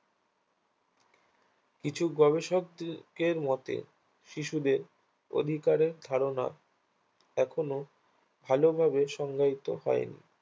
কিছু গবেষকদের মতে শিশুদের অধিকারের ধারণা এখনো ভালোভাবে সংজ্ঞায়িত হয়নি